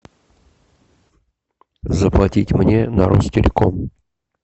заплатить мне на ростелеком